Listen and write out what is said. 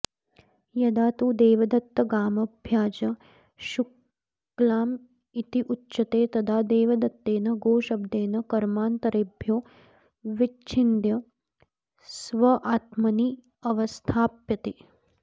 यदा तु देवदत्त गामभ्याज शुक्लामित्युच्यते तदा देवदत्तेन गोशब्देन कर्मान्तरेभ्यो विच्छिद्य स्वात्मन्यवस्थाप्यते